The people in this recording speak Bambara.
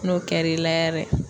N'o kɛr'i la yɛrɛ